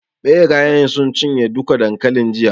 Ɓerayen sun cinye duka dankalin jiya.